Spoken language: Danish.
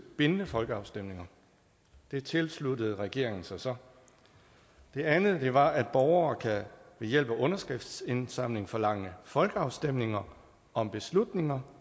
bindende folkeafstemninger det tilsluttede regeringen sig så der andet var at borgere ved hjælp af underskriftsindsamling kan forlange folkeafstemninger om beslutninger